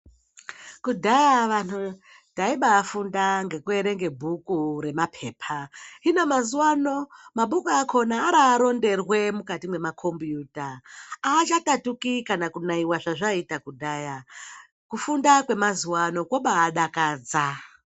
Kudhaya vanhu taibafunda ngekuerenga bhuru remapepa, hino mazuwano mabhuku akona araronderwe mukati mwemakombiyuta. Haachatatuti kana kunaiwa zvazvaiita kudhaya. Kufunda kwemazuwano kwobadakadza.